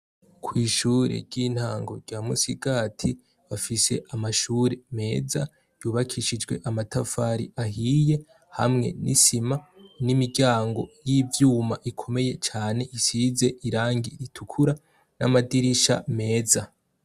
Kw'ishure ry'intango rya Musigati rifise amashure meza yubakishijwe amatafari ahiye hamwe ni sima nimiryango yivyuma ikomeye Cane isize Irangi ritukura namadirisha meza.